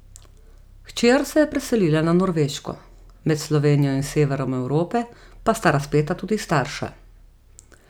Hčer se je preselila na Norveško, med Slovenijo in severom Evrope pa sta razpeta tudi starša.